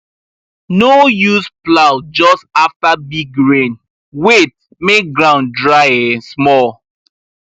no use plow just after big rain wait make ground dry small